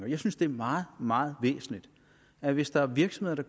jeg synes det er meget meget væsentligt at hvis der er virksomheder